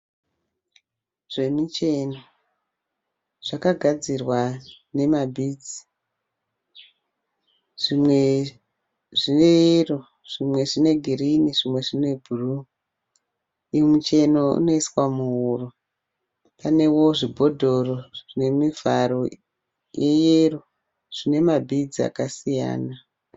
Zvemucheno zvakagadzirwa nema(beads). Zvimwe zvine yero zvimwe zvine girini zvimwe zvine bhuruu. Uyu mucheno unoiswa muhuro. Panewo zvibhodhoro zvine mivharo ye yero zvine ma(beads) akasiyana.